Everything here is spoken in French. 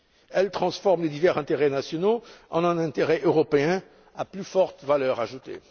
Elles transforment les divers intérêts nationaux en un intérêt européen à plus forte valeur ajoutée.